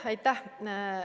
Aitäh!